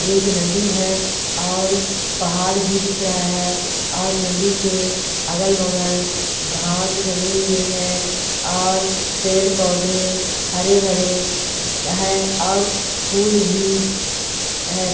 एक नदी है और पहाड़ भी दिख रहा है और नदी के अगल बगल घास जमे हुए है और पेड़ पौधे हरे भरे है और फूल भी है।